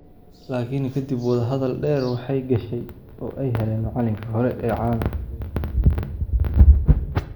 "Laakiin kadib wadahadal dheer, waxay gashay oo ay heleen macallinka hore ee caalamka oo diiday inuu guuldareysto."